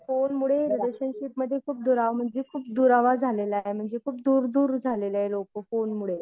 फोनमुळे रिपलेशनशिपमध्ये खूप दुराव म्हणजे खूप दुरावा झालेला आहे. म्हणजे खूप दूर दूर झालेले आहेत लोकं फोनमुळं.